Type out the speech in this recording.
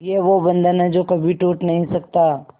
ये वो बंधन है जो कभी टूट नही सकता